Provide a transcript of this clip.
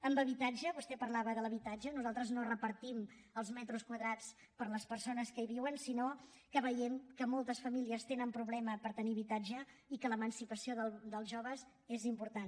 en habitatge vostè parlava de l’habitatge nosaltres no repartim els metres quadrats per les persones que hi viuen sinó que veiem que moltes famílies tenen problemes per tenir habitatge i que l’emancipació dels joves és important